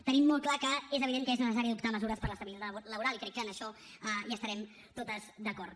tenim molt clar que és evident que és necessari adoptar mesures per a l’estabilitat laboral i crec que en això hi estarem totes d’acord